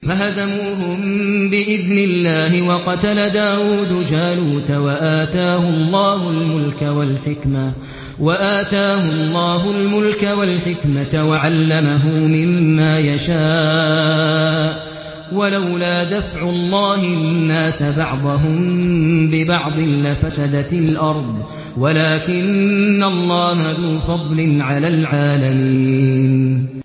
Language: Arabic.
فَهَزَمُوهُم بِإِذْنِ اللَّهِ وَقَتَلَ دَاوُودُ جَالُوتَ وَآتَاهُ اللَّهُ الْمُلْكَ وَالْحِكْمَةَ وَعَلَّمَهُ مِمَّا يَشَاءُ ۗ وَلَوْلَا دَفْعُ اللَّهِ النَّاسَ بَعْضَهُم بِبَعْضٍ لَّفَسَدَتِ الْأَرْضُ وَلَٰكِنَّ اللَّهَ ذُو فَضْلٍ عَلَى الْعَالَمِينَ